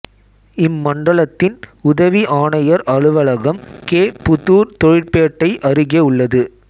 இம்மண்டலத்தின் உதவி ஆனையர் அலுவலகம் கே புதூர் தொழிற்பேட்டை அருகே உள்ளது